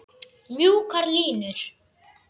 Mjúkar línur.